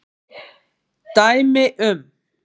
Dæmi um